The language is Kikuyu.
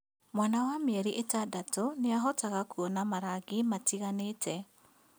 Mwana wa mĩeri ĩtandatũ nĩahotaga kuona marangi matiganĩte